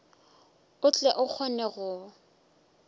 o tle o kgone go